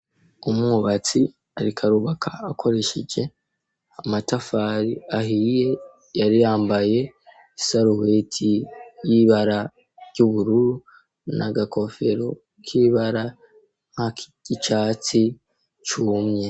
Umubatsi arikarubaka akoresheje amatafari ahiye yariyambaye isaruweti y'ibara ry'ubururu na agakofero k'ibara nk'a kigicatsi cumye.